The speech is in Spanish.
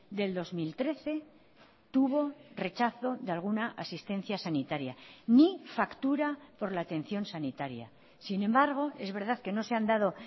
del dos mil trece tuvo rechazo de alguna asistencia sanitaria ni factura por la atención sanitaria sin embargo es verdad que no se han dado